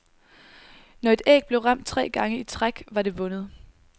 Når et æg blev ramt tre gange i træk, var det vundet.